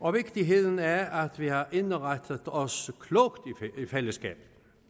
og vigtigheden af at vi har indrettet os klogt i fællesskab